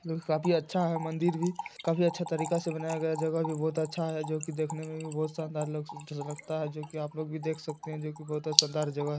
काफी अच्छा है मंदिर भी काफी अच्छे तरीके से बनाया गया है जगह भी बोहोत अच्छा है जो कि देखने में भी बोहोत शानदार लग लगता है जो कि आप लोग भी देख सकते है जो कि बोहोत शानदार जगह है।